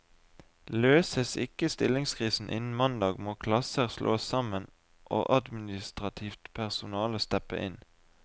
Løses ikke stillingskrisen innen mandag, må klasser slås sammen og administrativt personale steppe inn.